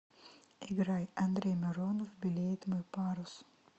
играй андрей миронов белеет мой парус